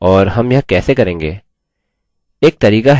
और हम यह कैसे करेंगे